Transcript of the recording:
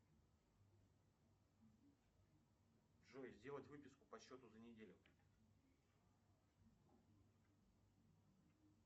джой сделать выписку по счету за неделю